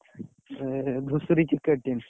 ଏ ହେ ଧୂସୁରୀ Cricket team ।